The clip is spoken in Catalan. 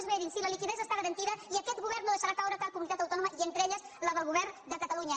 verin sí la liquiditat està garantida i aquest govern no deixarà caure cap comunitat autònoma i entre elles la del govern de catalunya